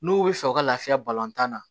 N'u bɛ fɛ u ka laafiya balɔntan na